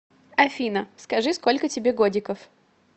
афина скажи сколько тебе годиков